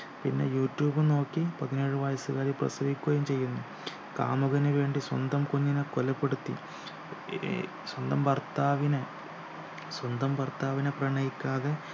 പിന്നെ യൂട്യൂബ് നോക്കി പതിനേഴു വയസുകാരി പ്രസവിക്കുകയും ചെയ്യുന്നു കാമുകന് വേണ്ടി സ്വന്തം കുഞ്ഞിനെ കൊലപ്പെടുത്തി ഈ സ്വന്തം ഭർത്താവിനെ സ്വന്തം ഭർത്താവിനെ പ്രണയിക്കാതെ